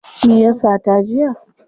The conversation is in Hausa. Me ya sata jiya?